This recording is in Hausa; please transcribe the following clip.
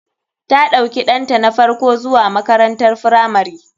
Ta ɗauki ɗanta na farko zuwa makarantar firamari.